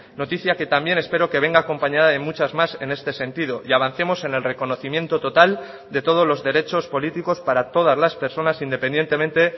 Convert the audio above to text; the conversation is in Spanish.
noticia que también espero que venga acompañada de muchas más en este sentido y avancemos en el reconocimiento total de todos los derechos políticos para todas las personas independientemente